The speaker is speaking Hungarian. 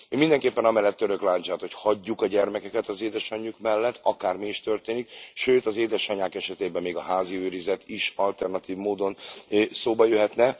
Én mindenképpen amellett török lándzsát, hogy hagyjuk a gyermekeket az édesanyjuk mellett, akármi is történik, sőt az édesanyák esetében még a házi őrizet is alternatív módon szóba jöhet.